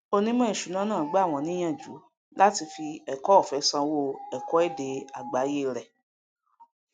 onímọ ìṣúná náà gbà wọn níyànjú láti fí ẹkọọfẹ sanwó ẹkọ ede àgbáyé rẹ